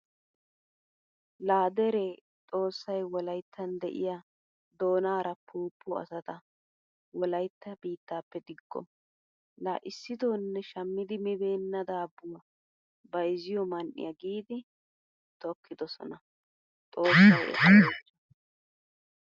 La dere xoossay wolayttan de'iyaa doonaara poopo asata wolaytta biittappe digo. La issitonne shammidi mibenaa daabuwaa bayzziyo man'iyaa giidi tokkidosona. Xoossay eta oychcho.